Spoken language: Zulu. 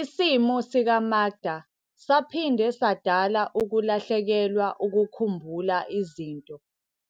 Isimo sika-Makda saphinde sadala ukulahlekelwa ukukhumbula izinto